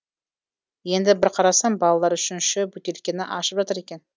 енді бір қарасам балалар үшінші бөтелкені ашып жатыр екен